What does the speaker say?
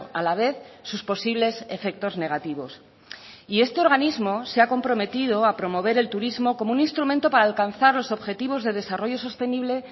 a la vez sus posibles efectos negativos y este organismo se ha comprometido a promover el turismo como un instrumento para alcanzar los objetivos de desarrollo sostenible